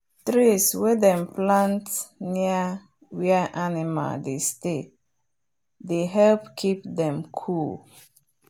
trees wen dem plant near where animal dey stay they help keep them cool.